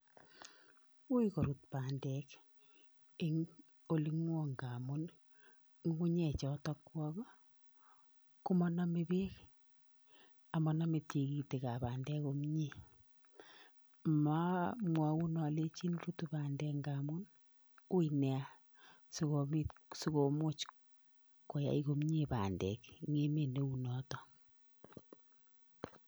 Wuy korut bandek eng olingwong ngamun ii ngugunyechotok kwok ii komonome bek amonome tikitik ab bandek komnyee, ma mamwaun alenjin rutu bandek ngamun uii nia sikobit sikomuch koyay komnyee bandek enn emet neu notok.